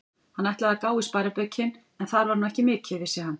Hann ætlaði að gá í sparibaukinn, en þar var nú ekki mikið, vissi hann.